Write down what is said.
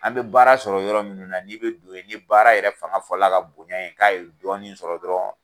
An bɛ baara sɔrɔ yɔrɔ minnu na n'i bɛ don yen ni baara yɛrɛ fanga fɔla ka bonya yen k'a ye dɔɔni sɔrɔ dɔrɔn.